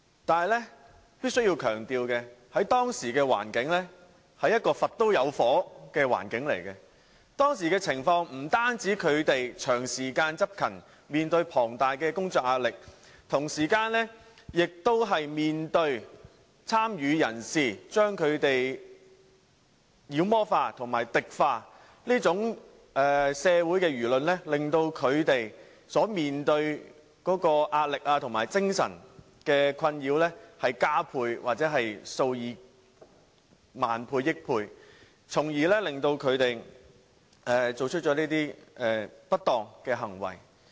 可是，我必須強調，在當時的環境——一個"佛都有火"的環境——他們不單長時間執勤，面對龐大工作壓力，同時亦面對參與人士把他們妖魔化和敵化等社會言論，令他們所面對的壓力和精神困擾加倍或數以億萬倍，因而作出這些不當行為。